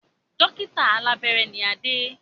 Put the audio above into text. Dókítà alàbẹ́rẹ́ ni Adé